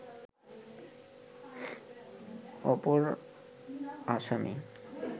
অপর আসামী